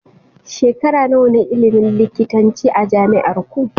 Shekara nawa ne ilimin likitanci a jami'arku?